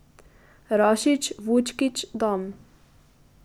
Rašić, Vučkić, Dam.